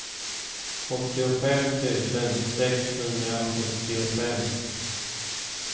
åttiofem tusen sexhundrasjuttiofem